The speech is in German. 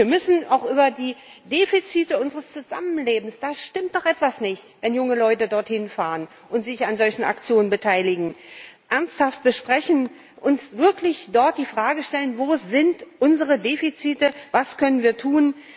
Wir müssen auch über die Defizite unseres Zusammenlebens da stimmt doch etwas nicht, wenn junge Leute dort hinfahren und sich an solchen Aktionen beteiligen ernsthaft sprechen, uns wirklich dort die Frage stellen Wo sind unsere Defizite, was können wir tun?